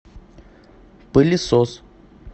пылесос